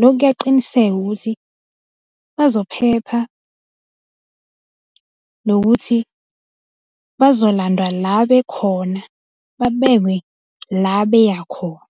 lokhu kuyaqiniseka ukuthi bazophepha, nokuthi bazolandwa la bekhona, babekwe la beyakhona.